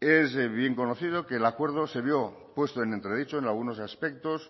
es bien conocido que el acuerdo se vio puesto en entredicho en algunos aspectos